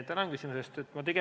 Tänan küsimuse eest!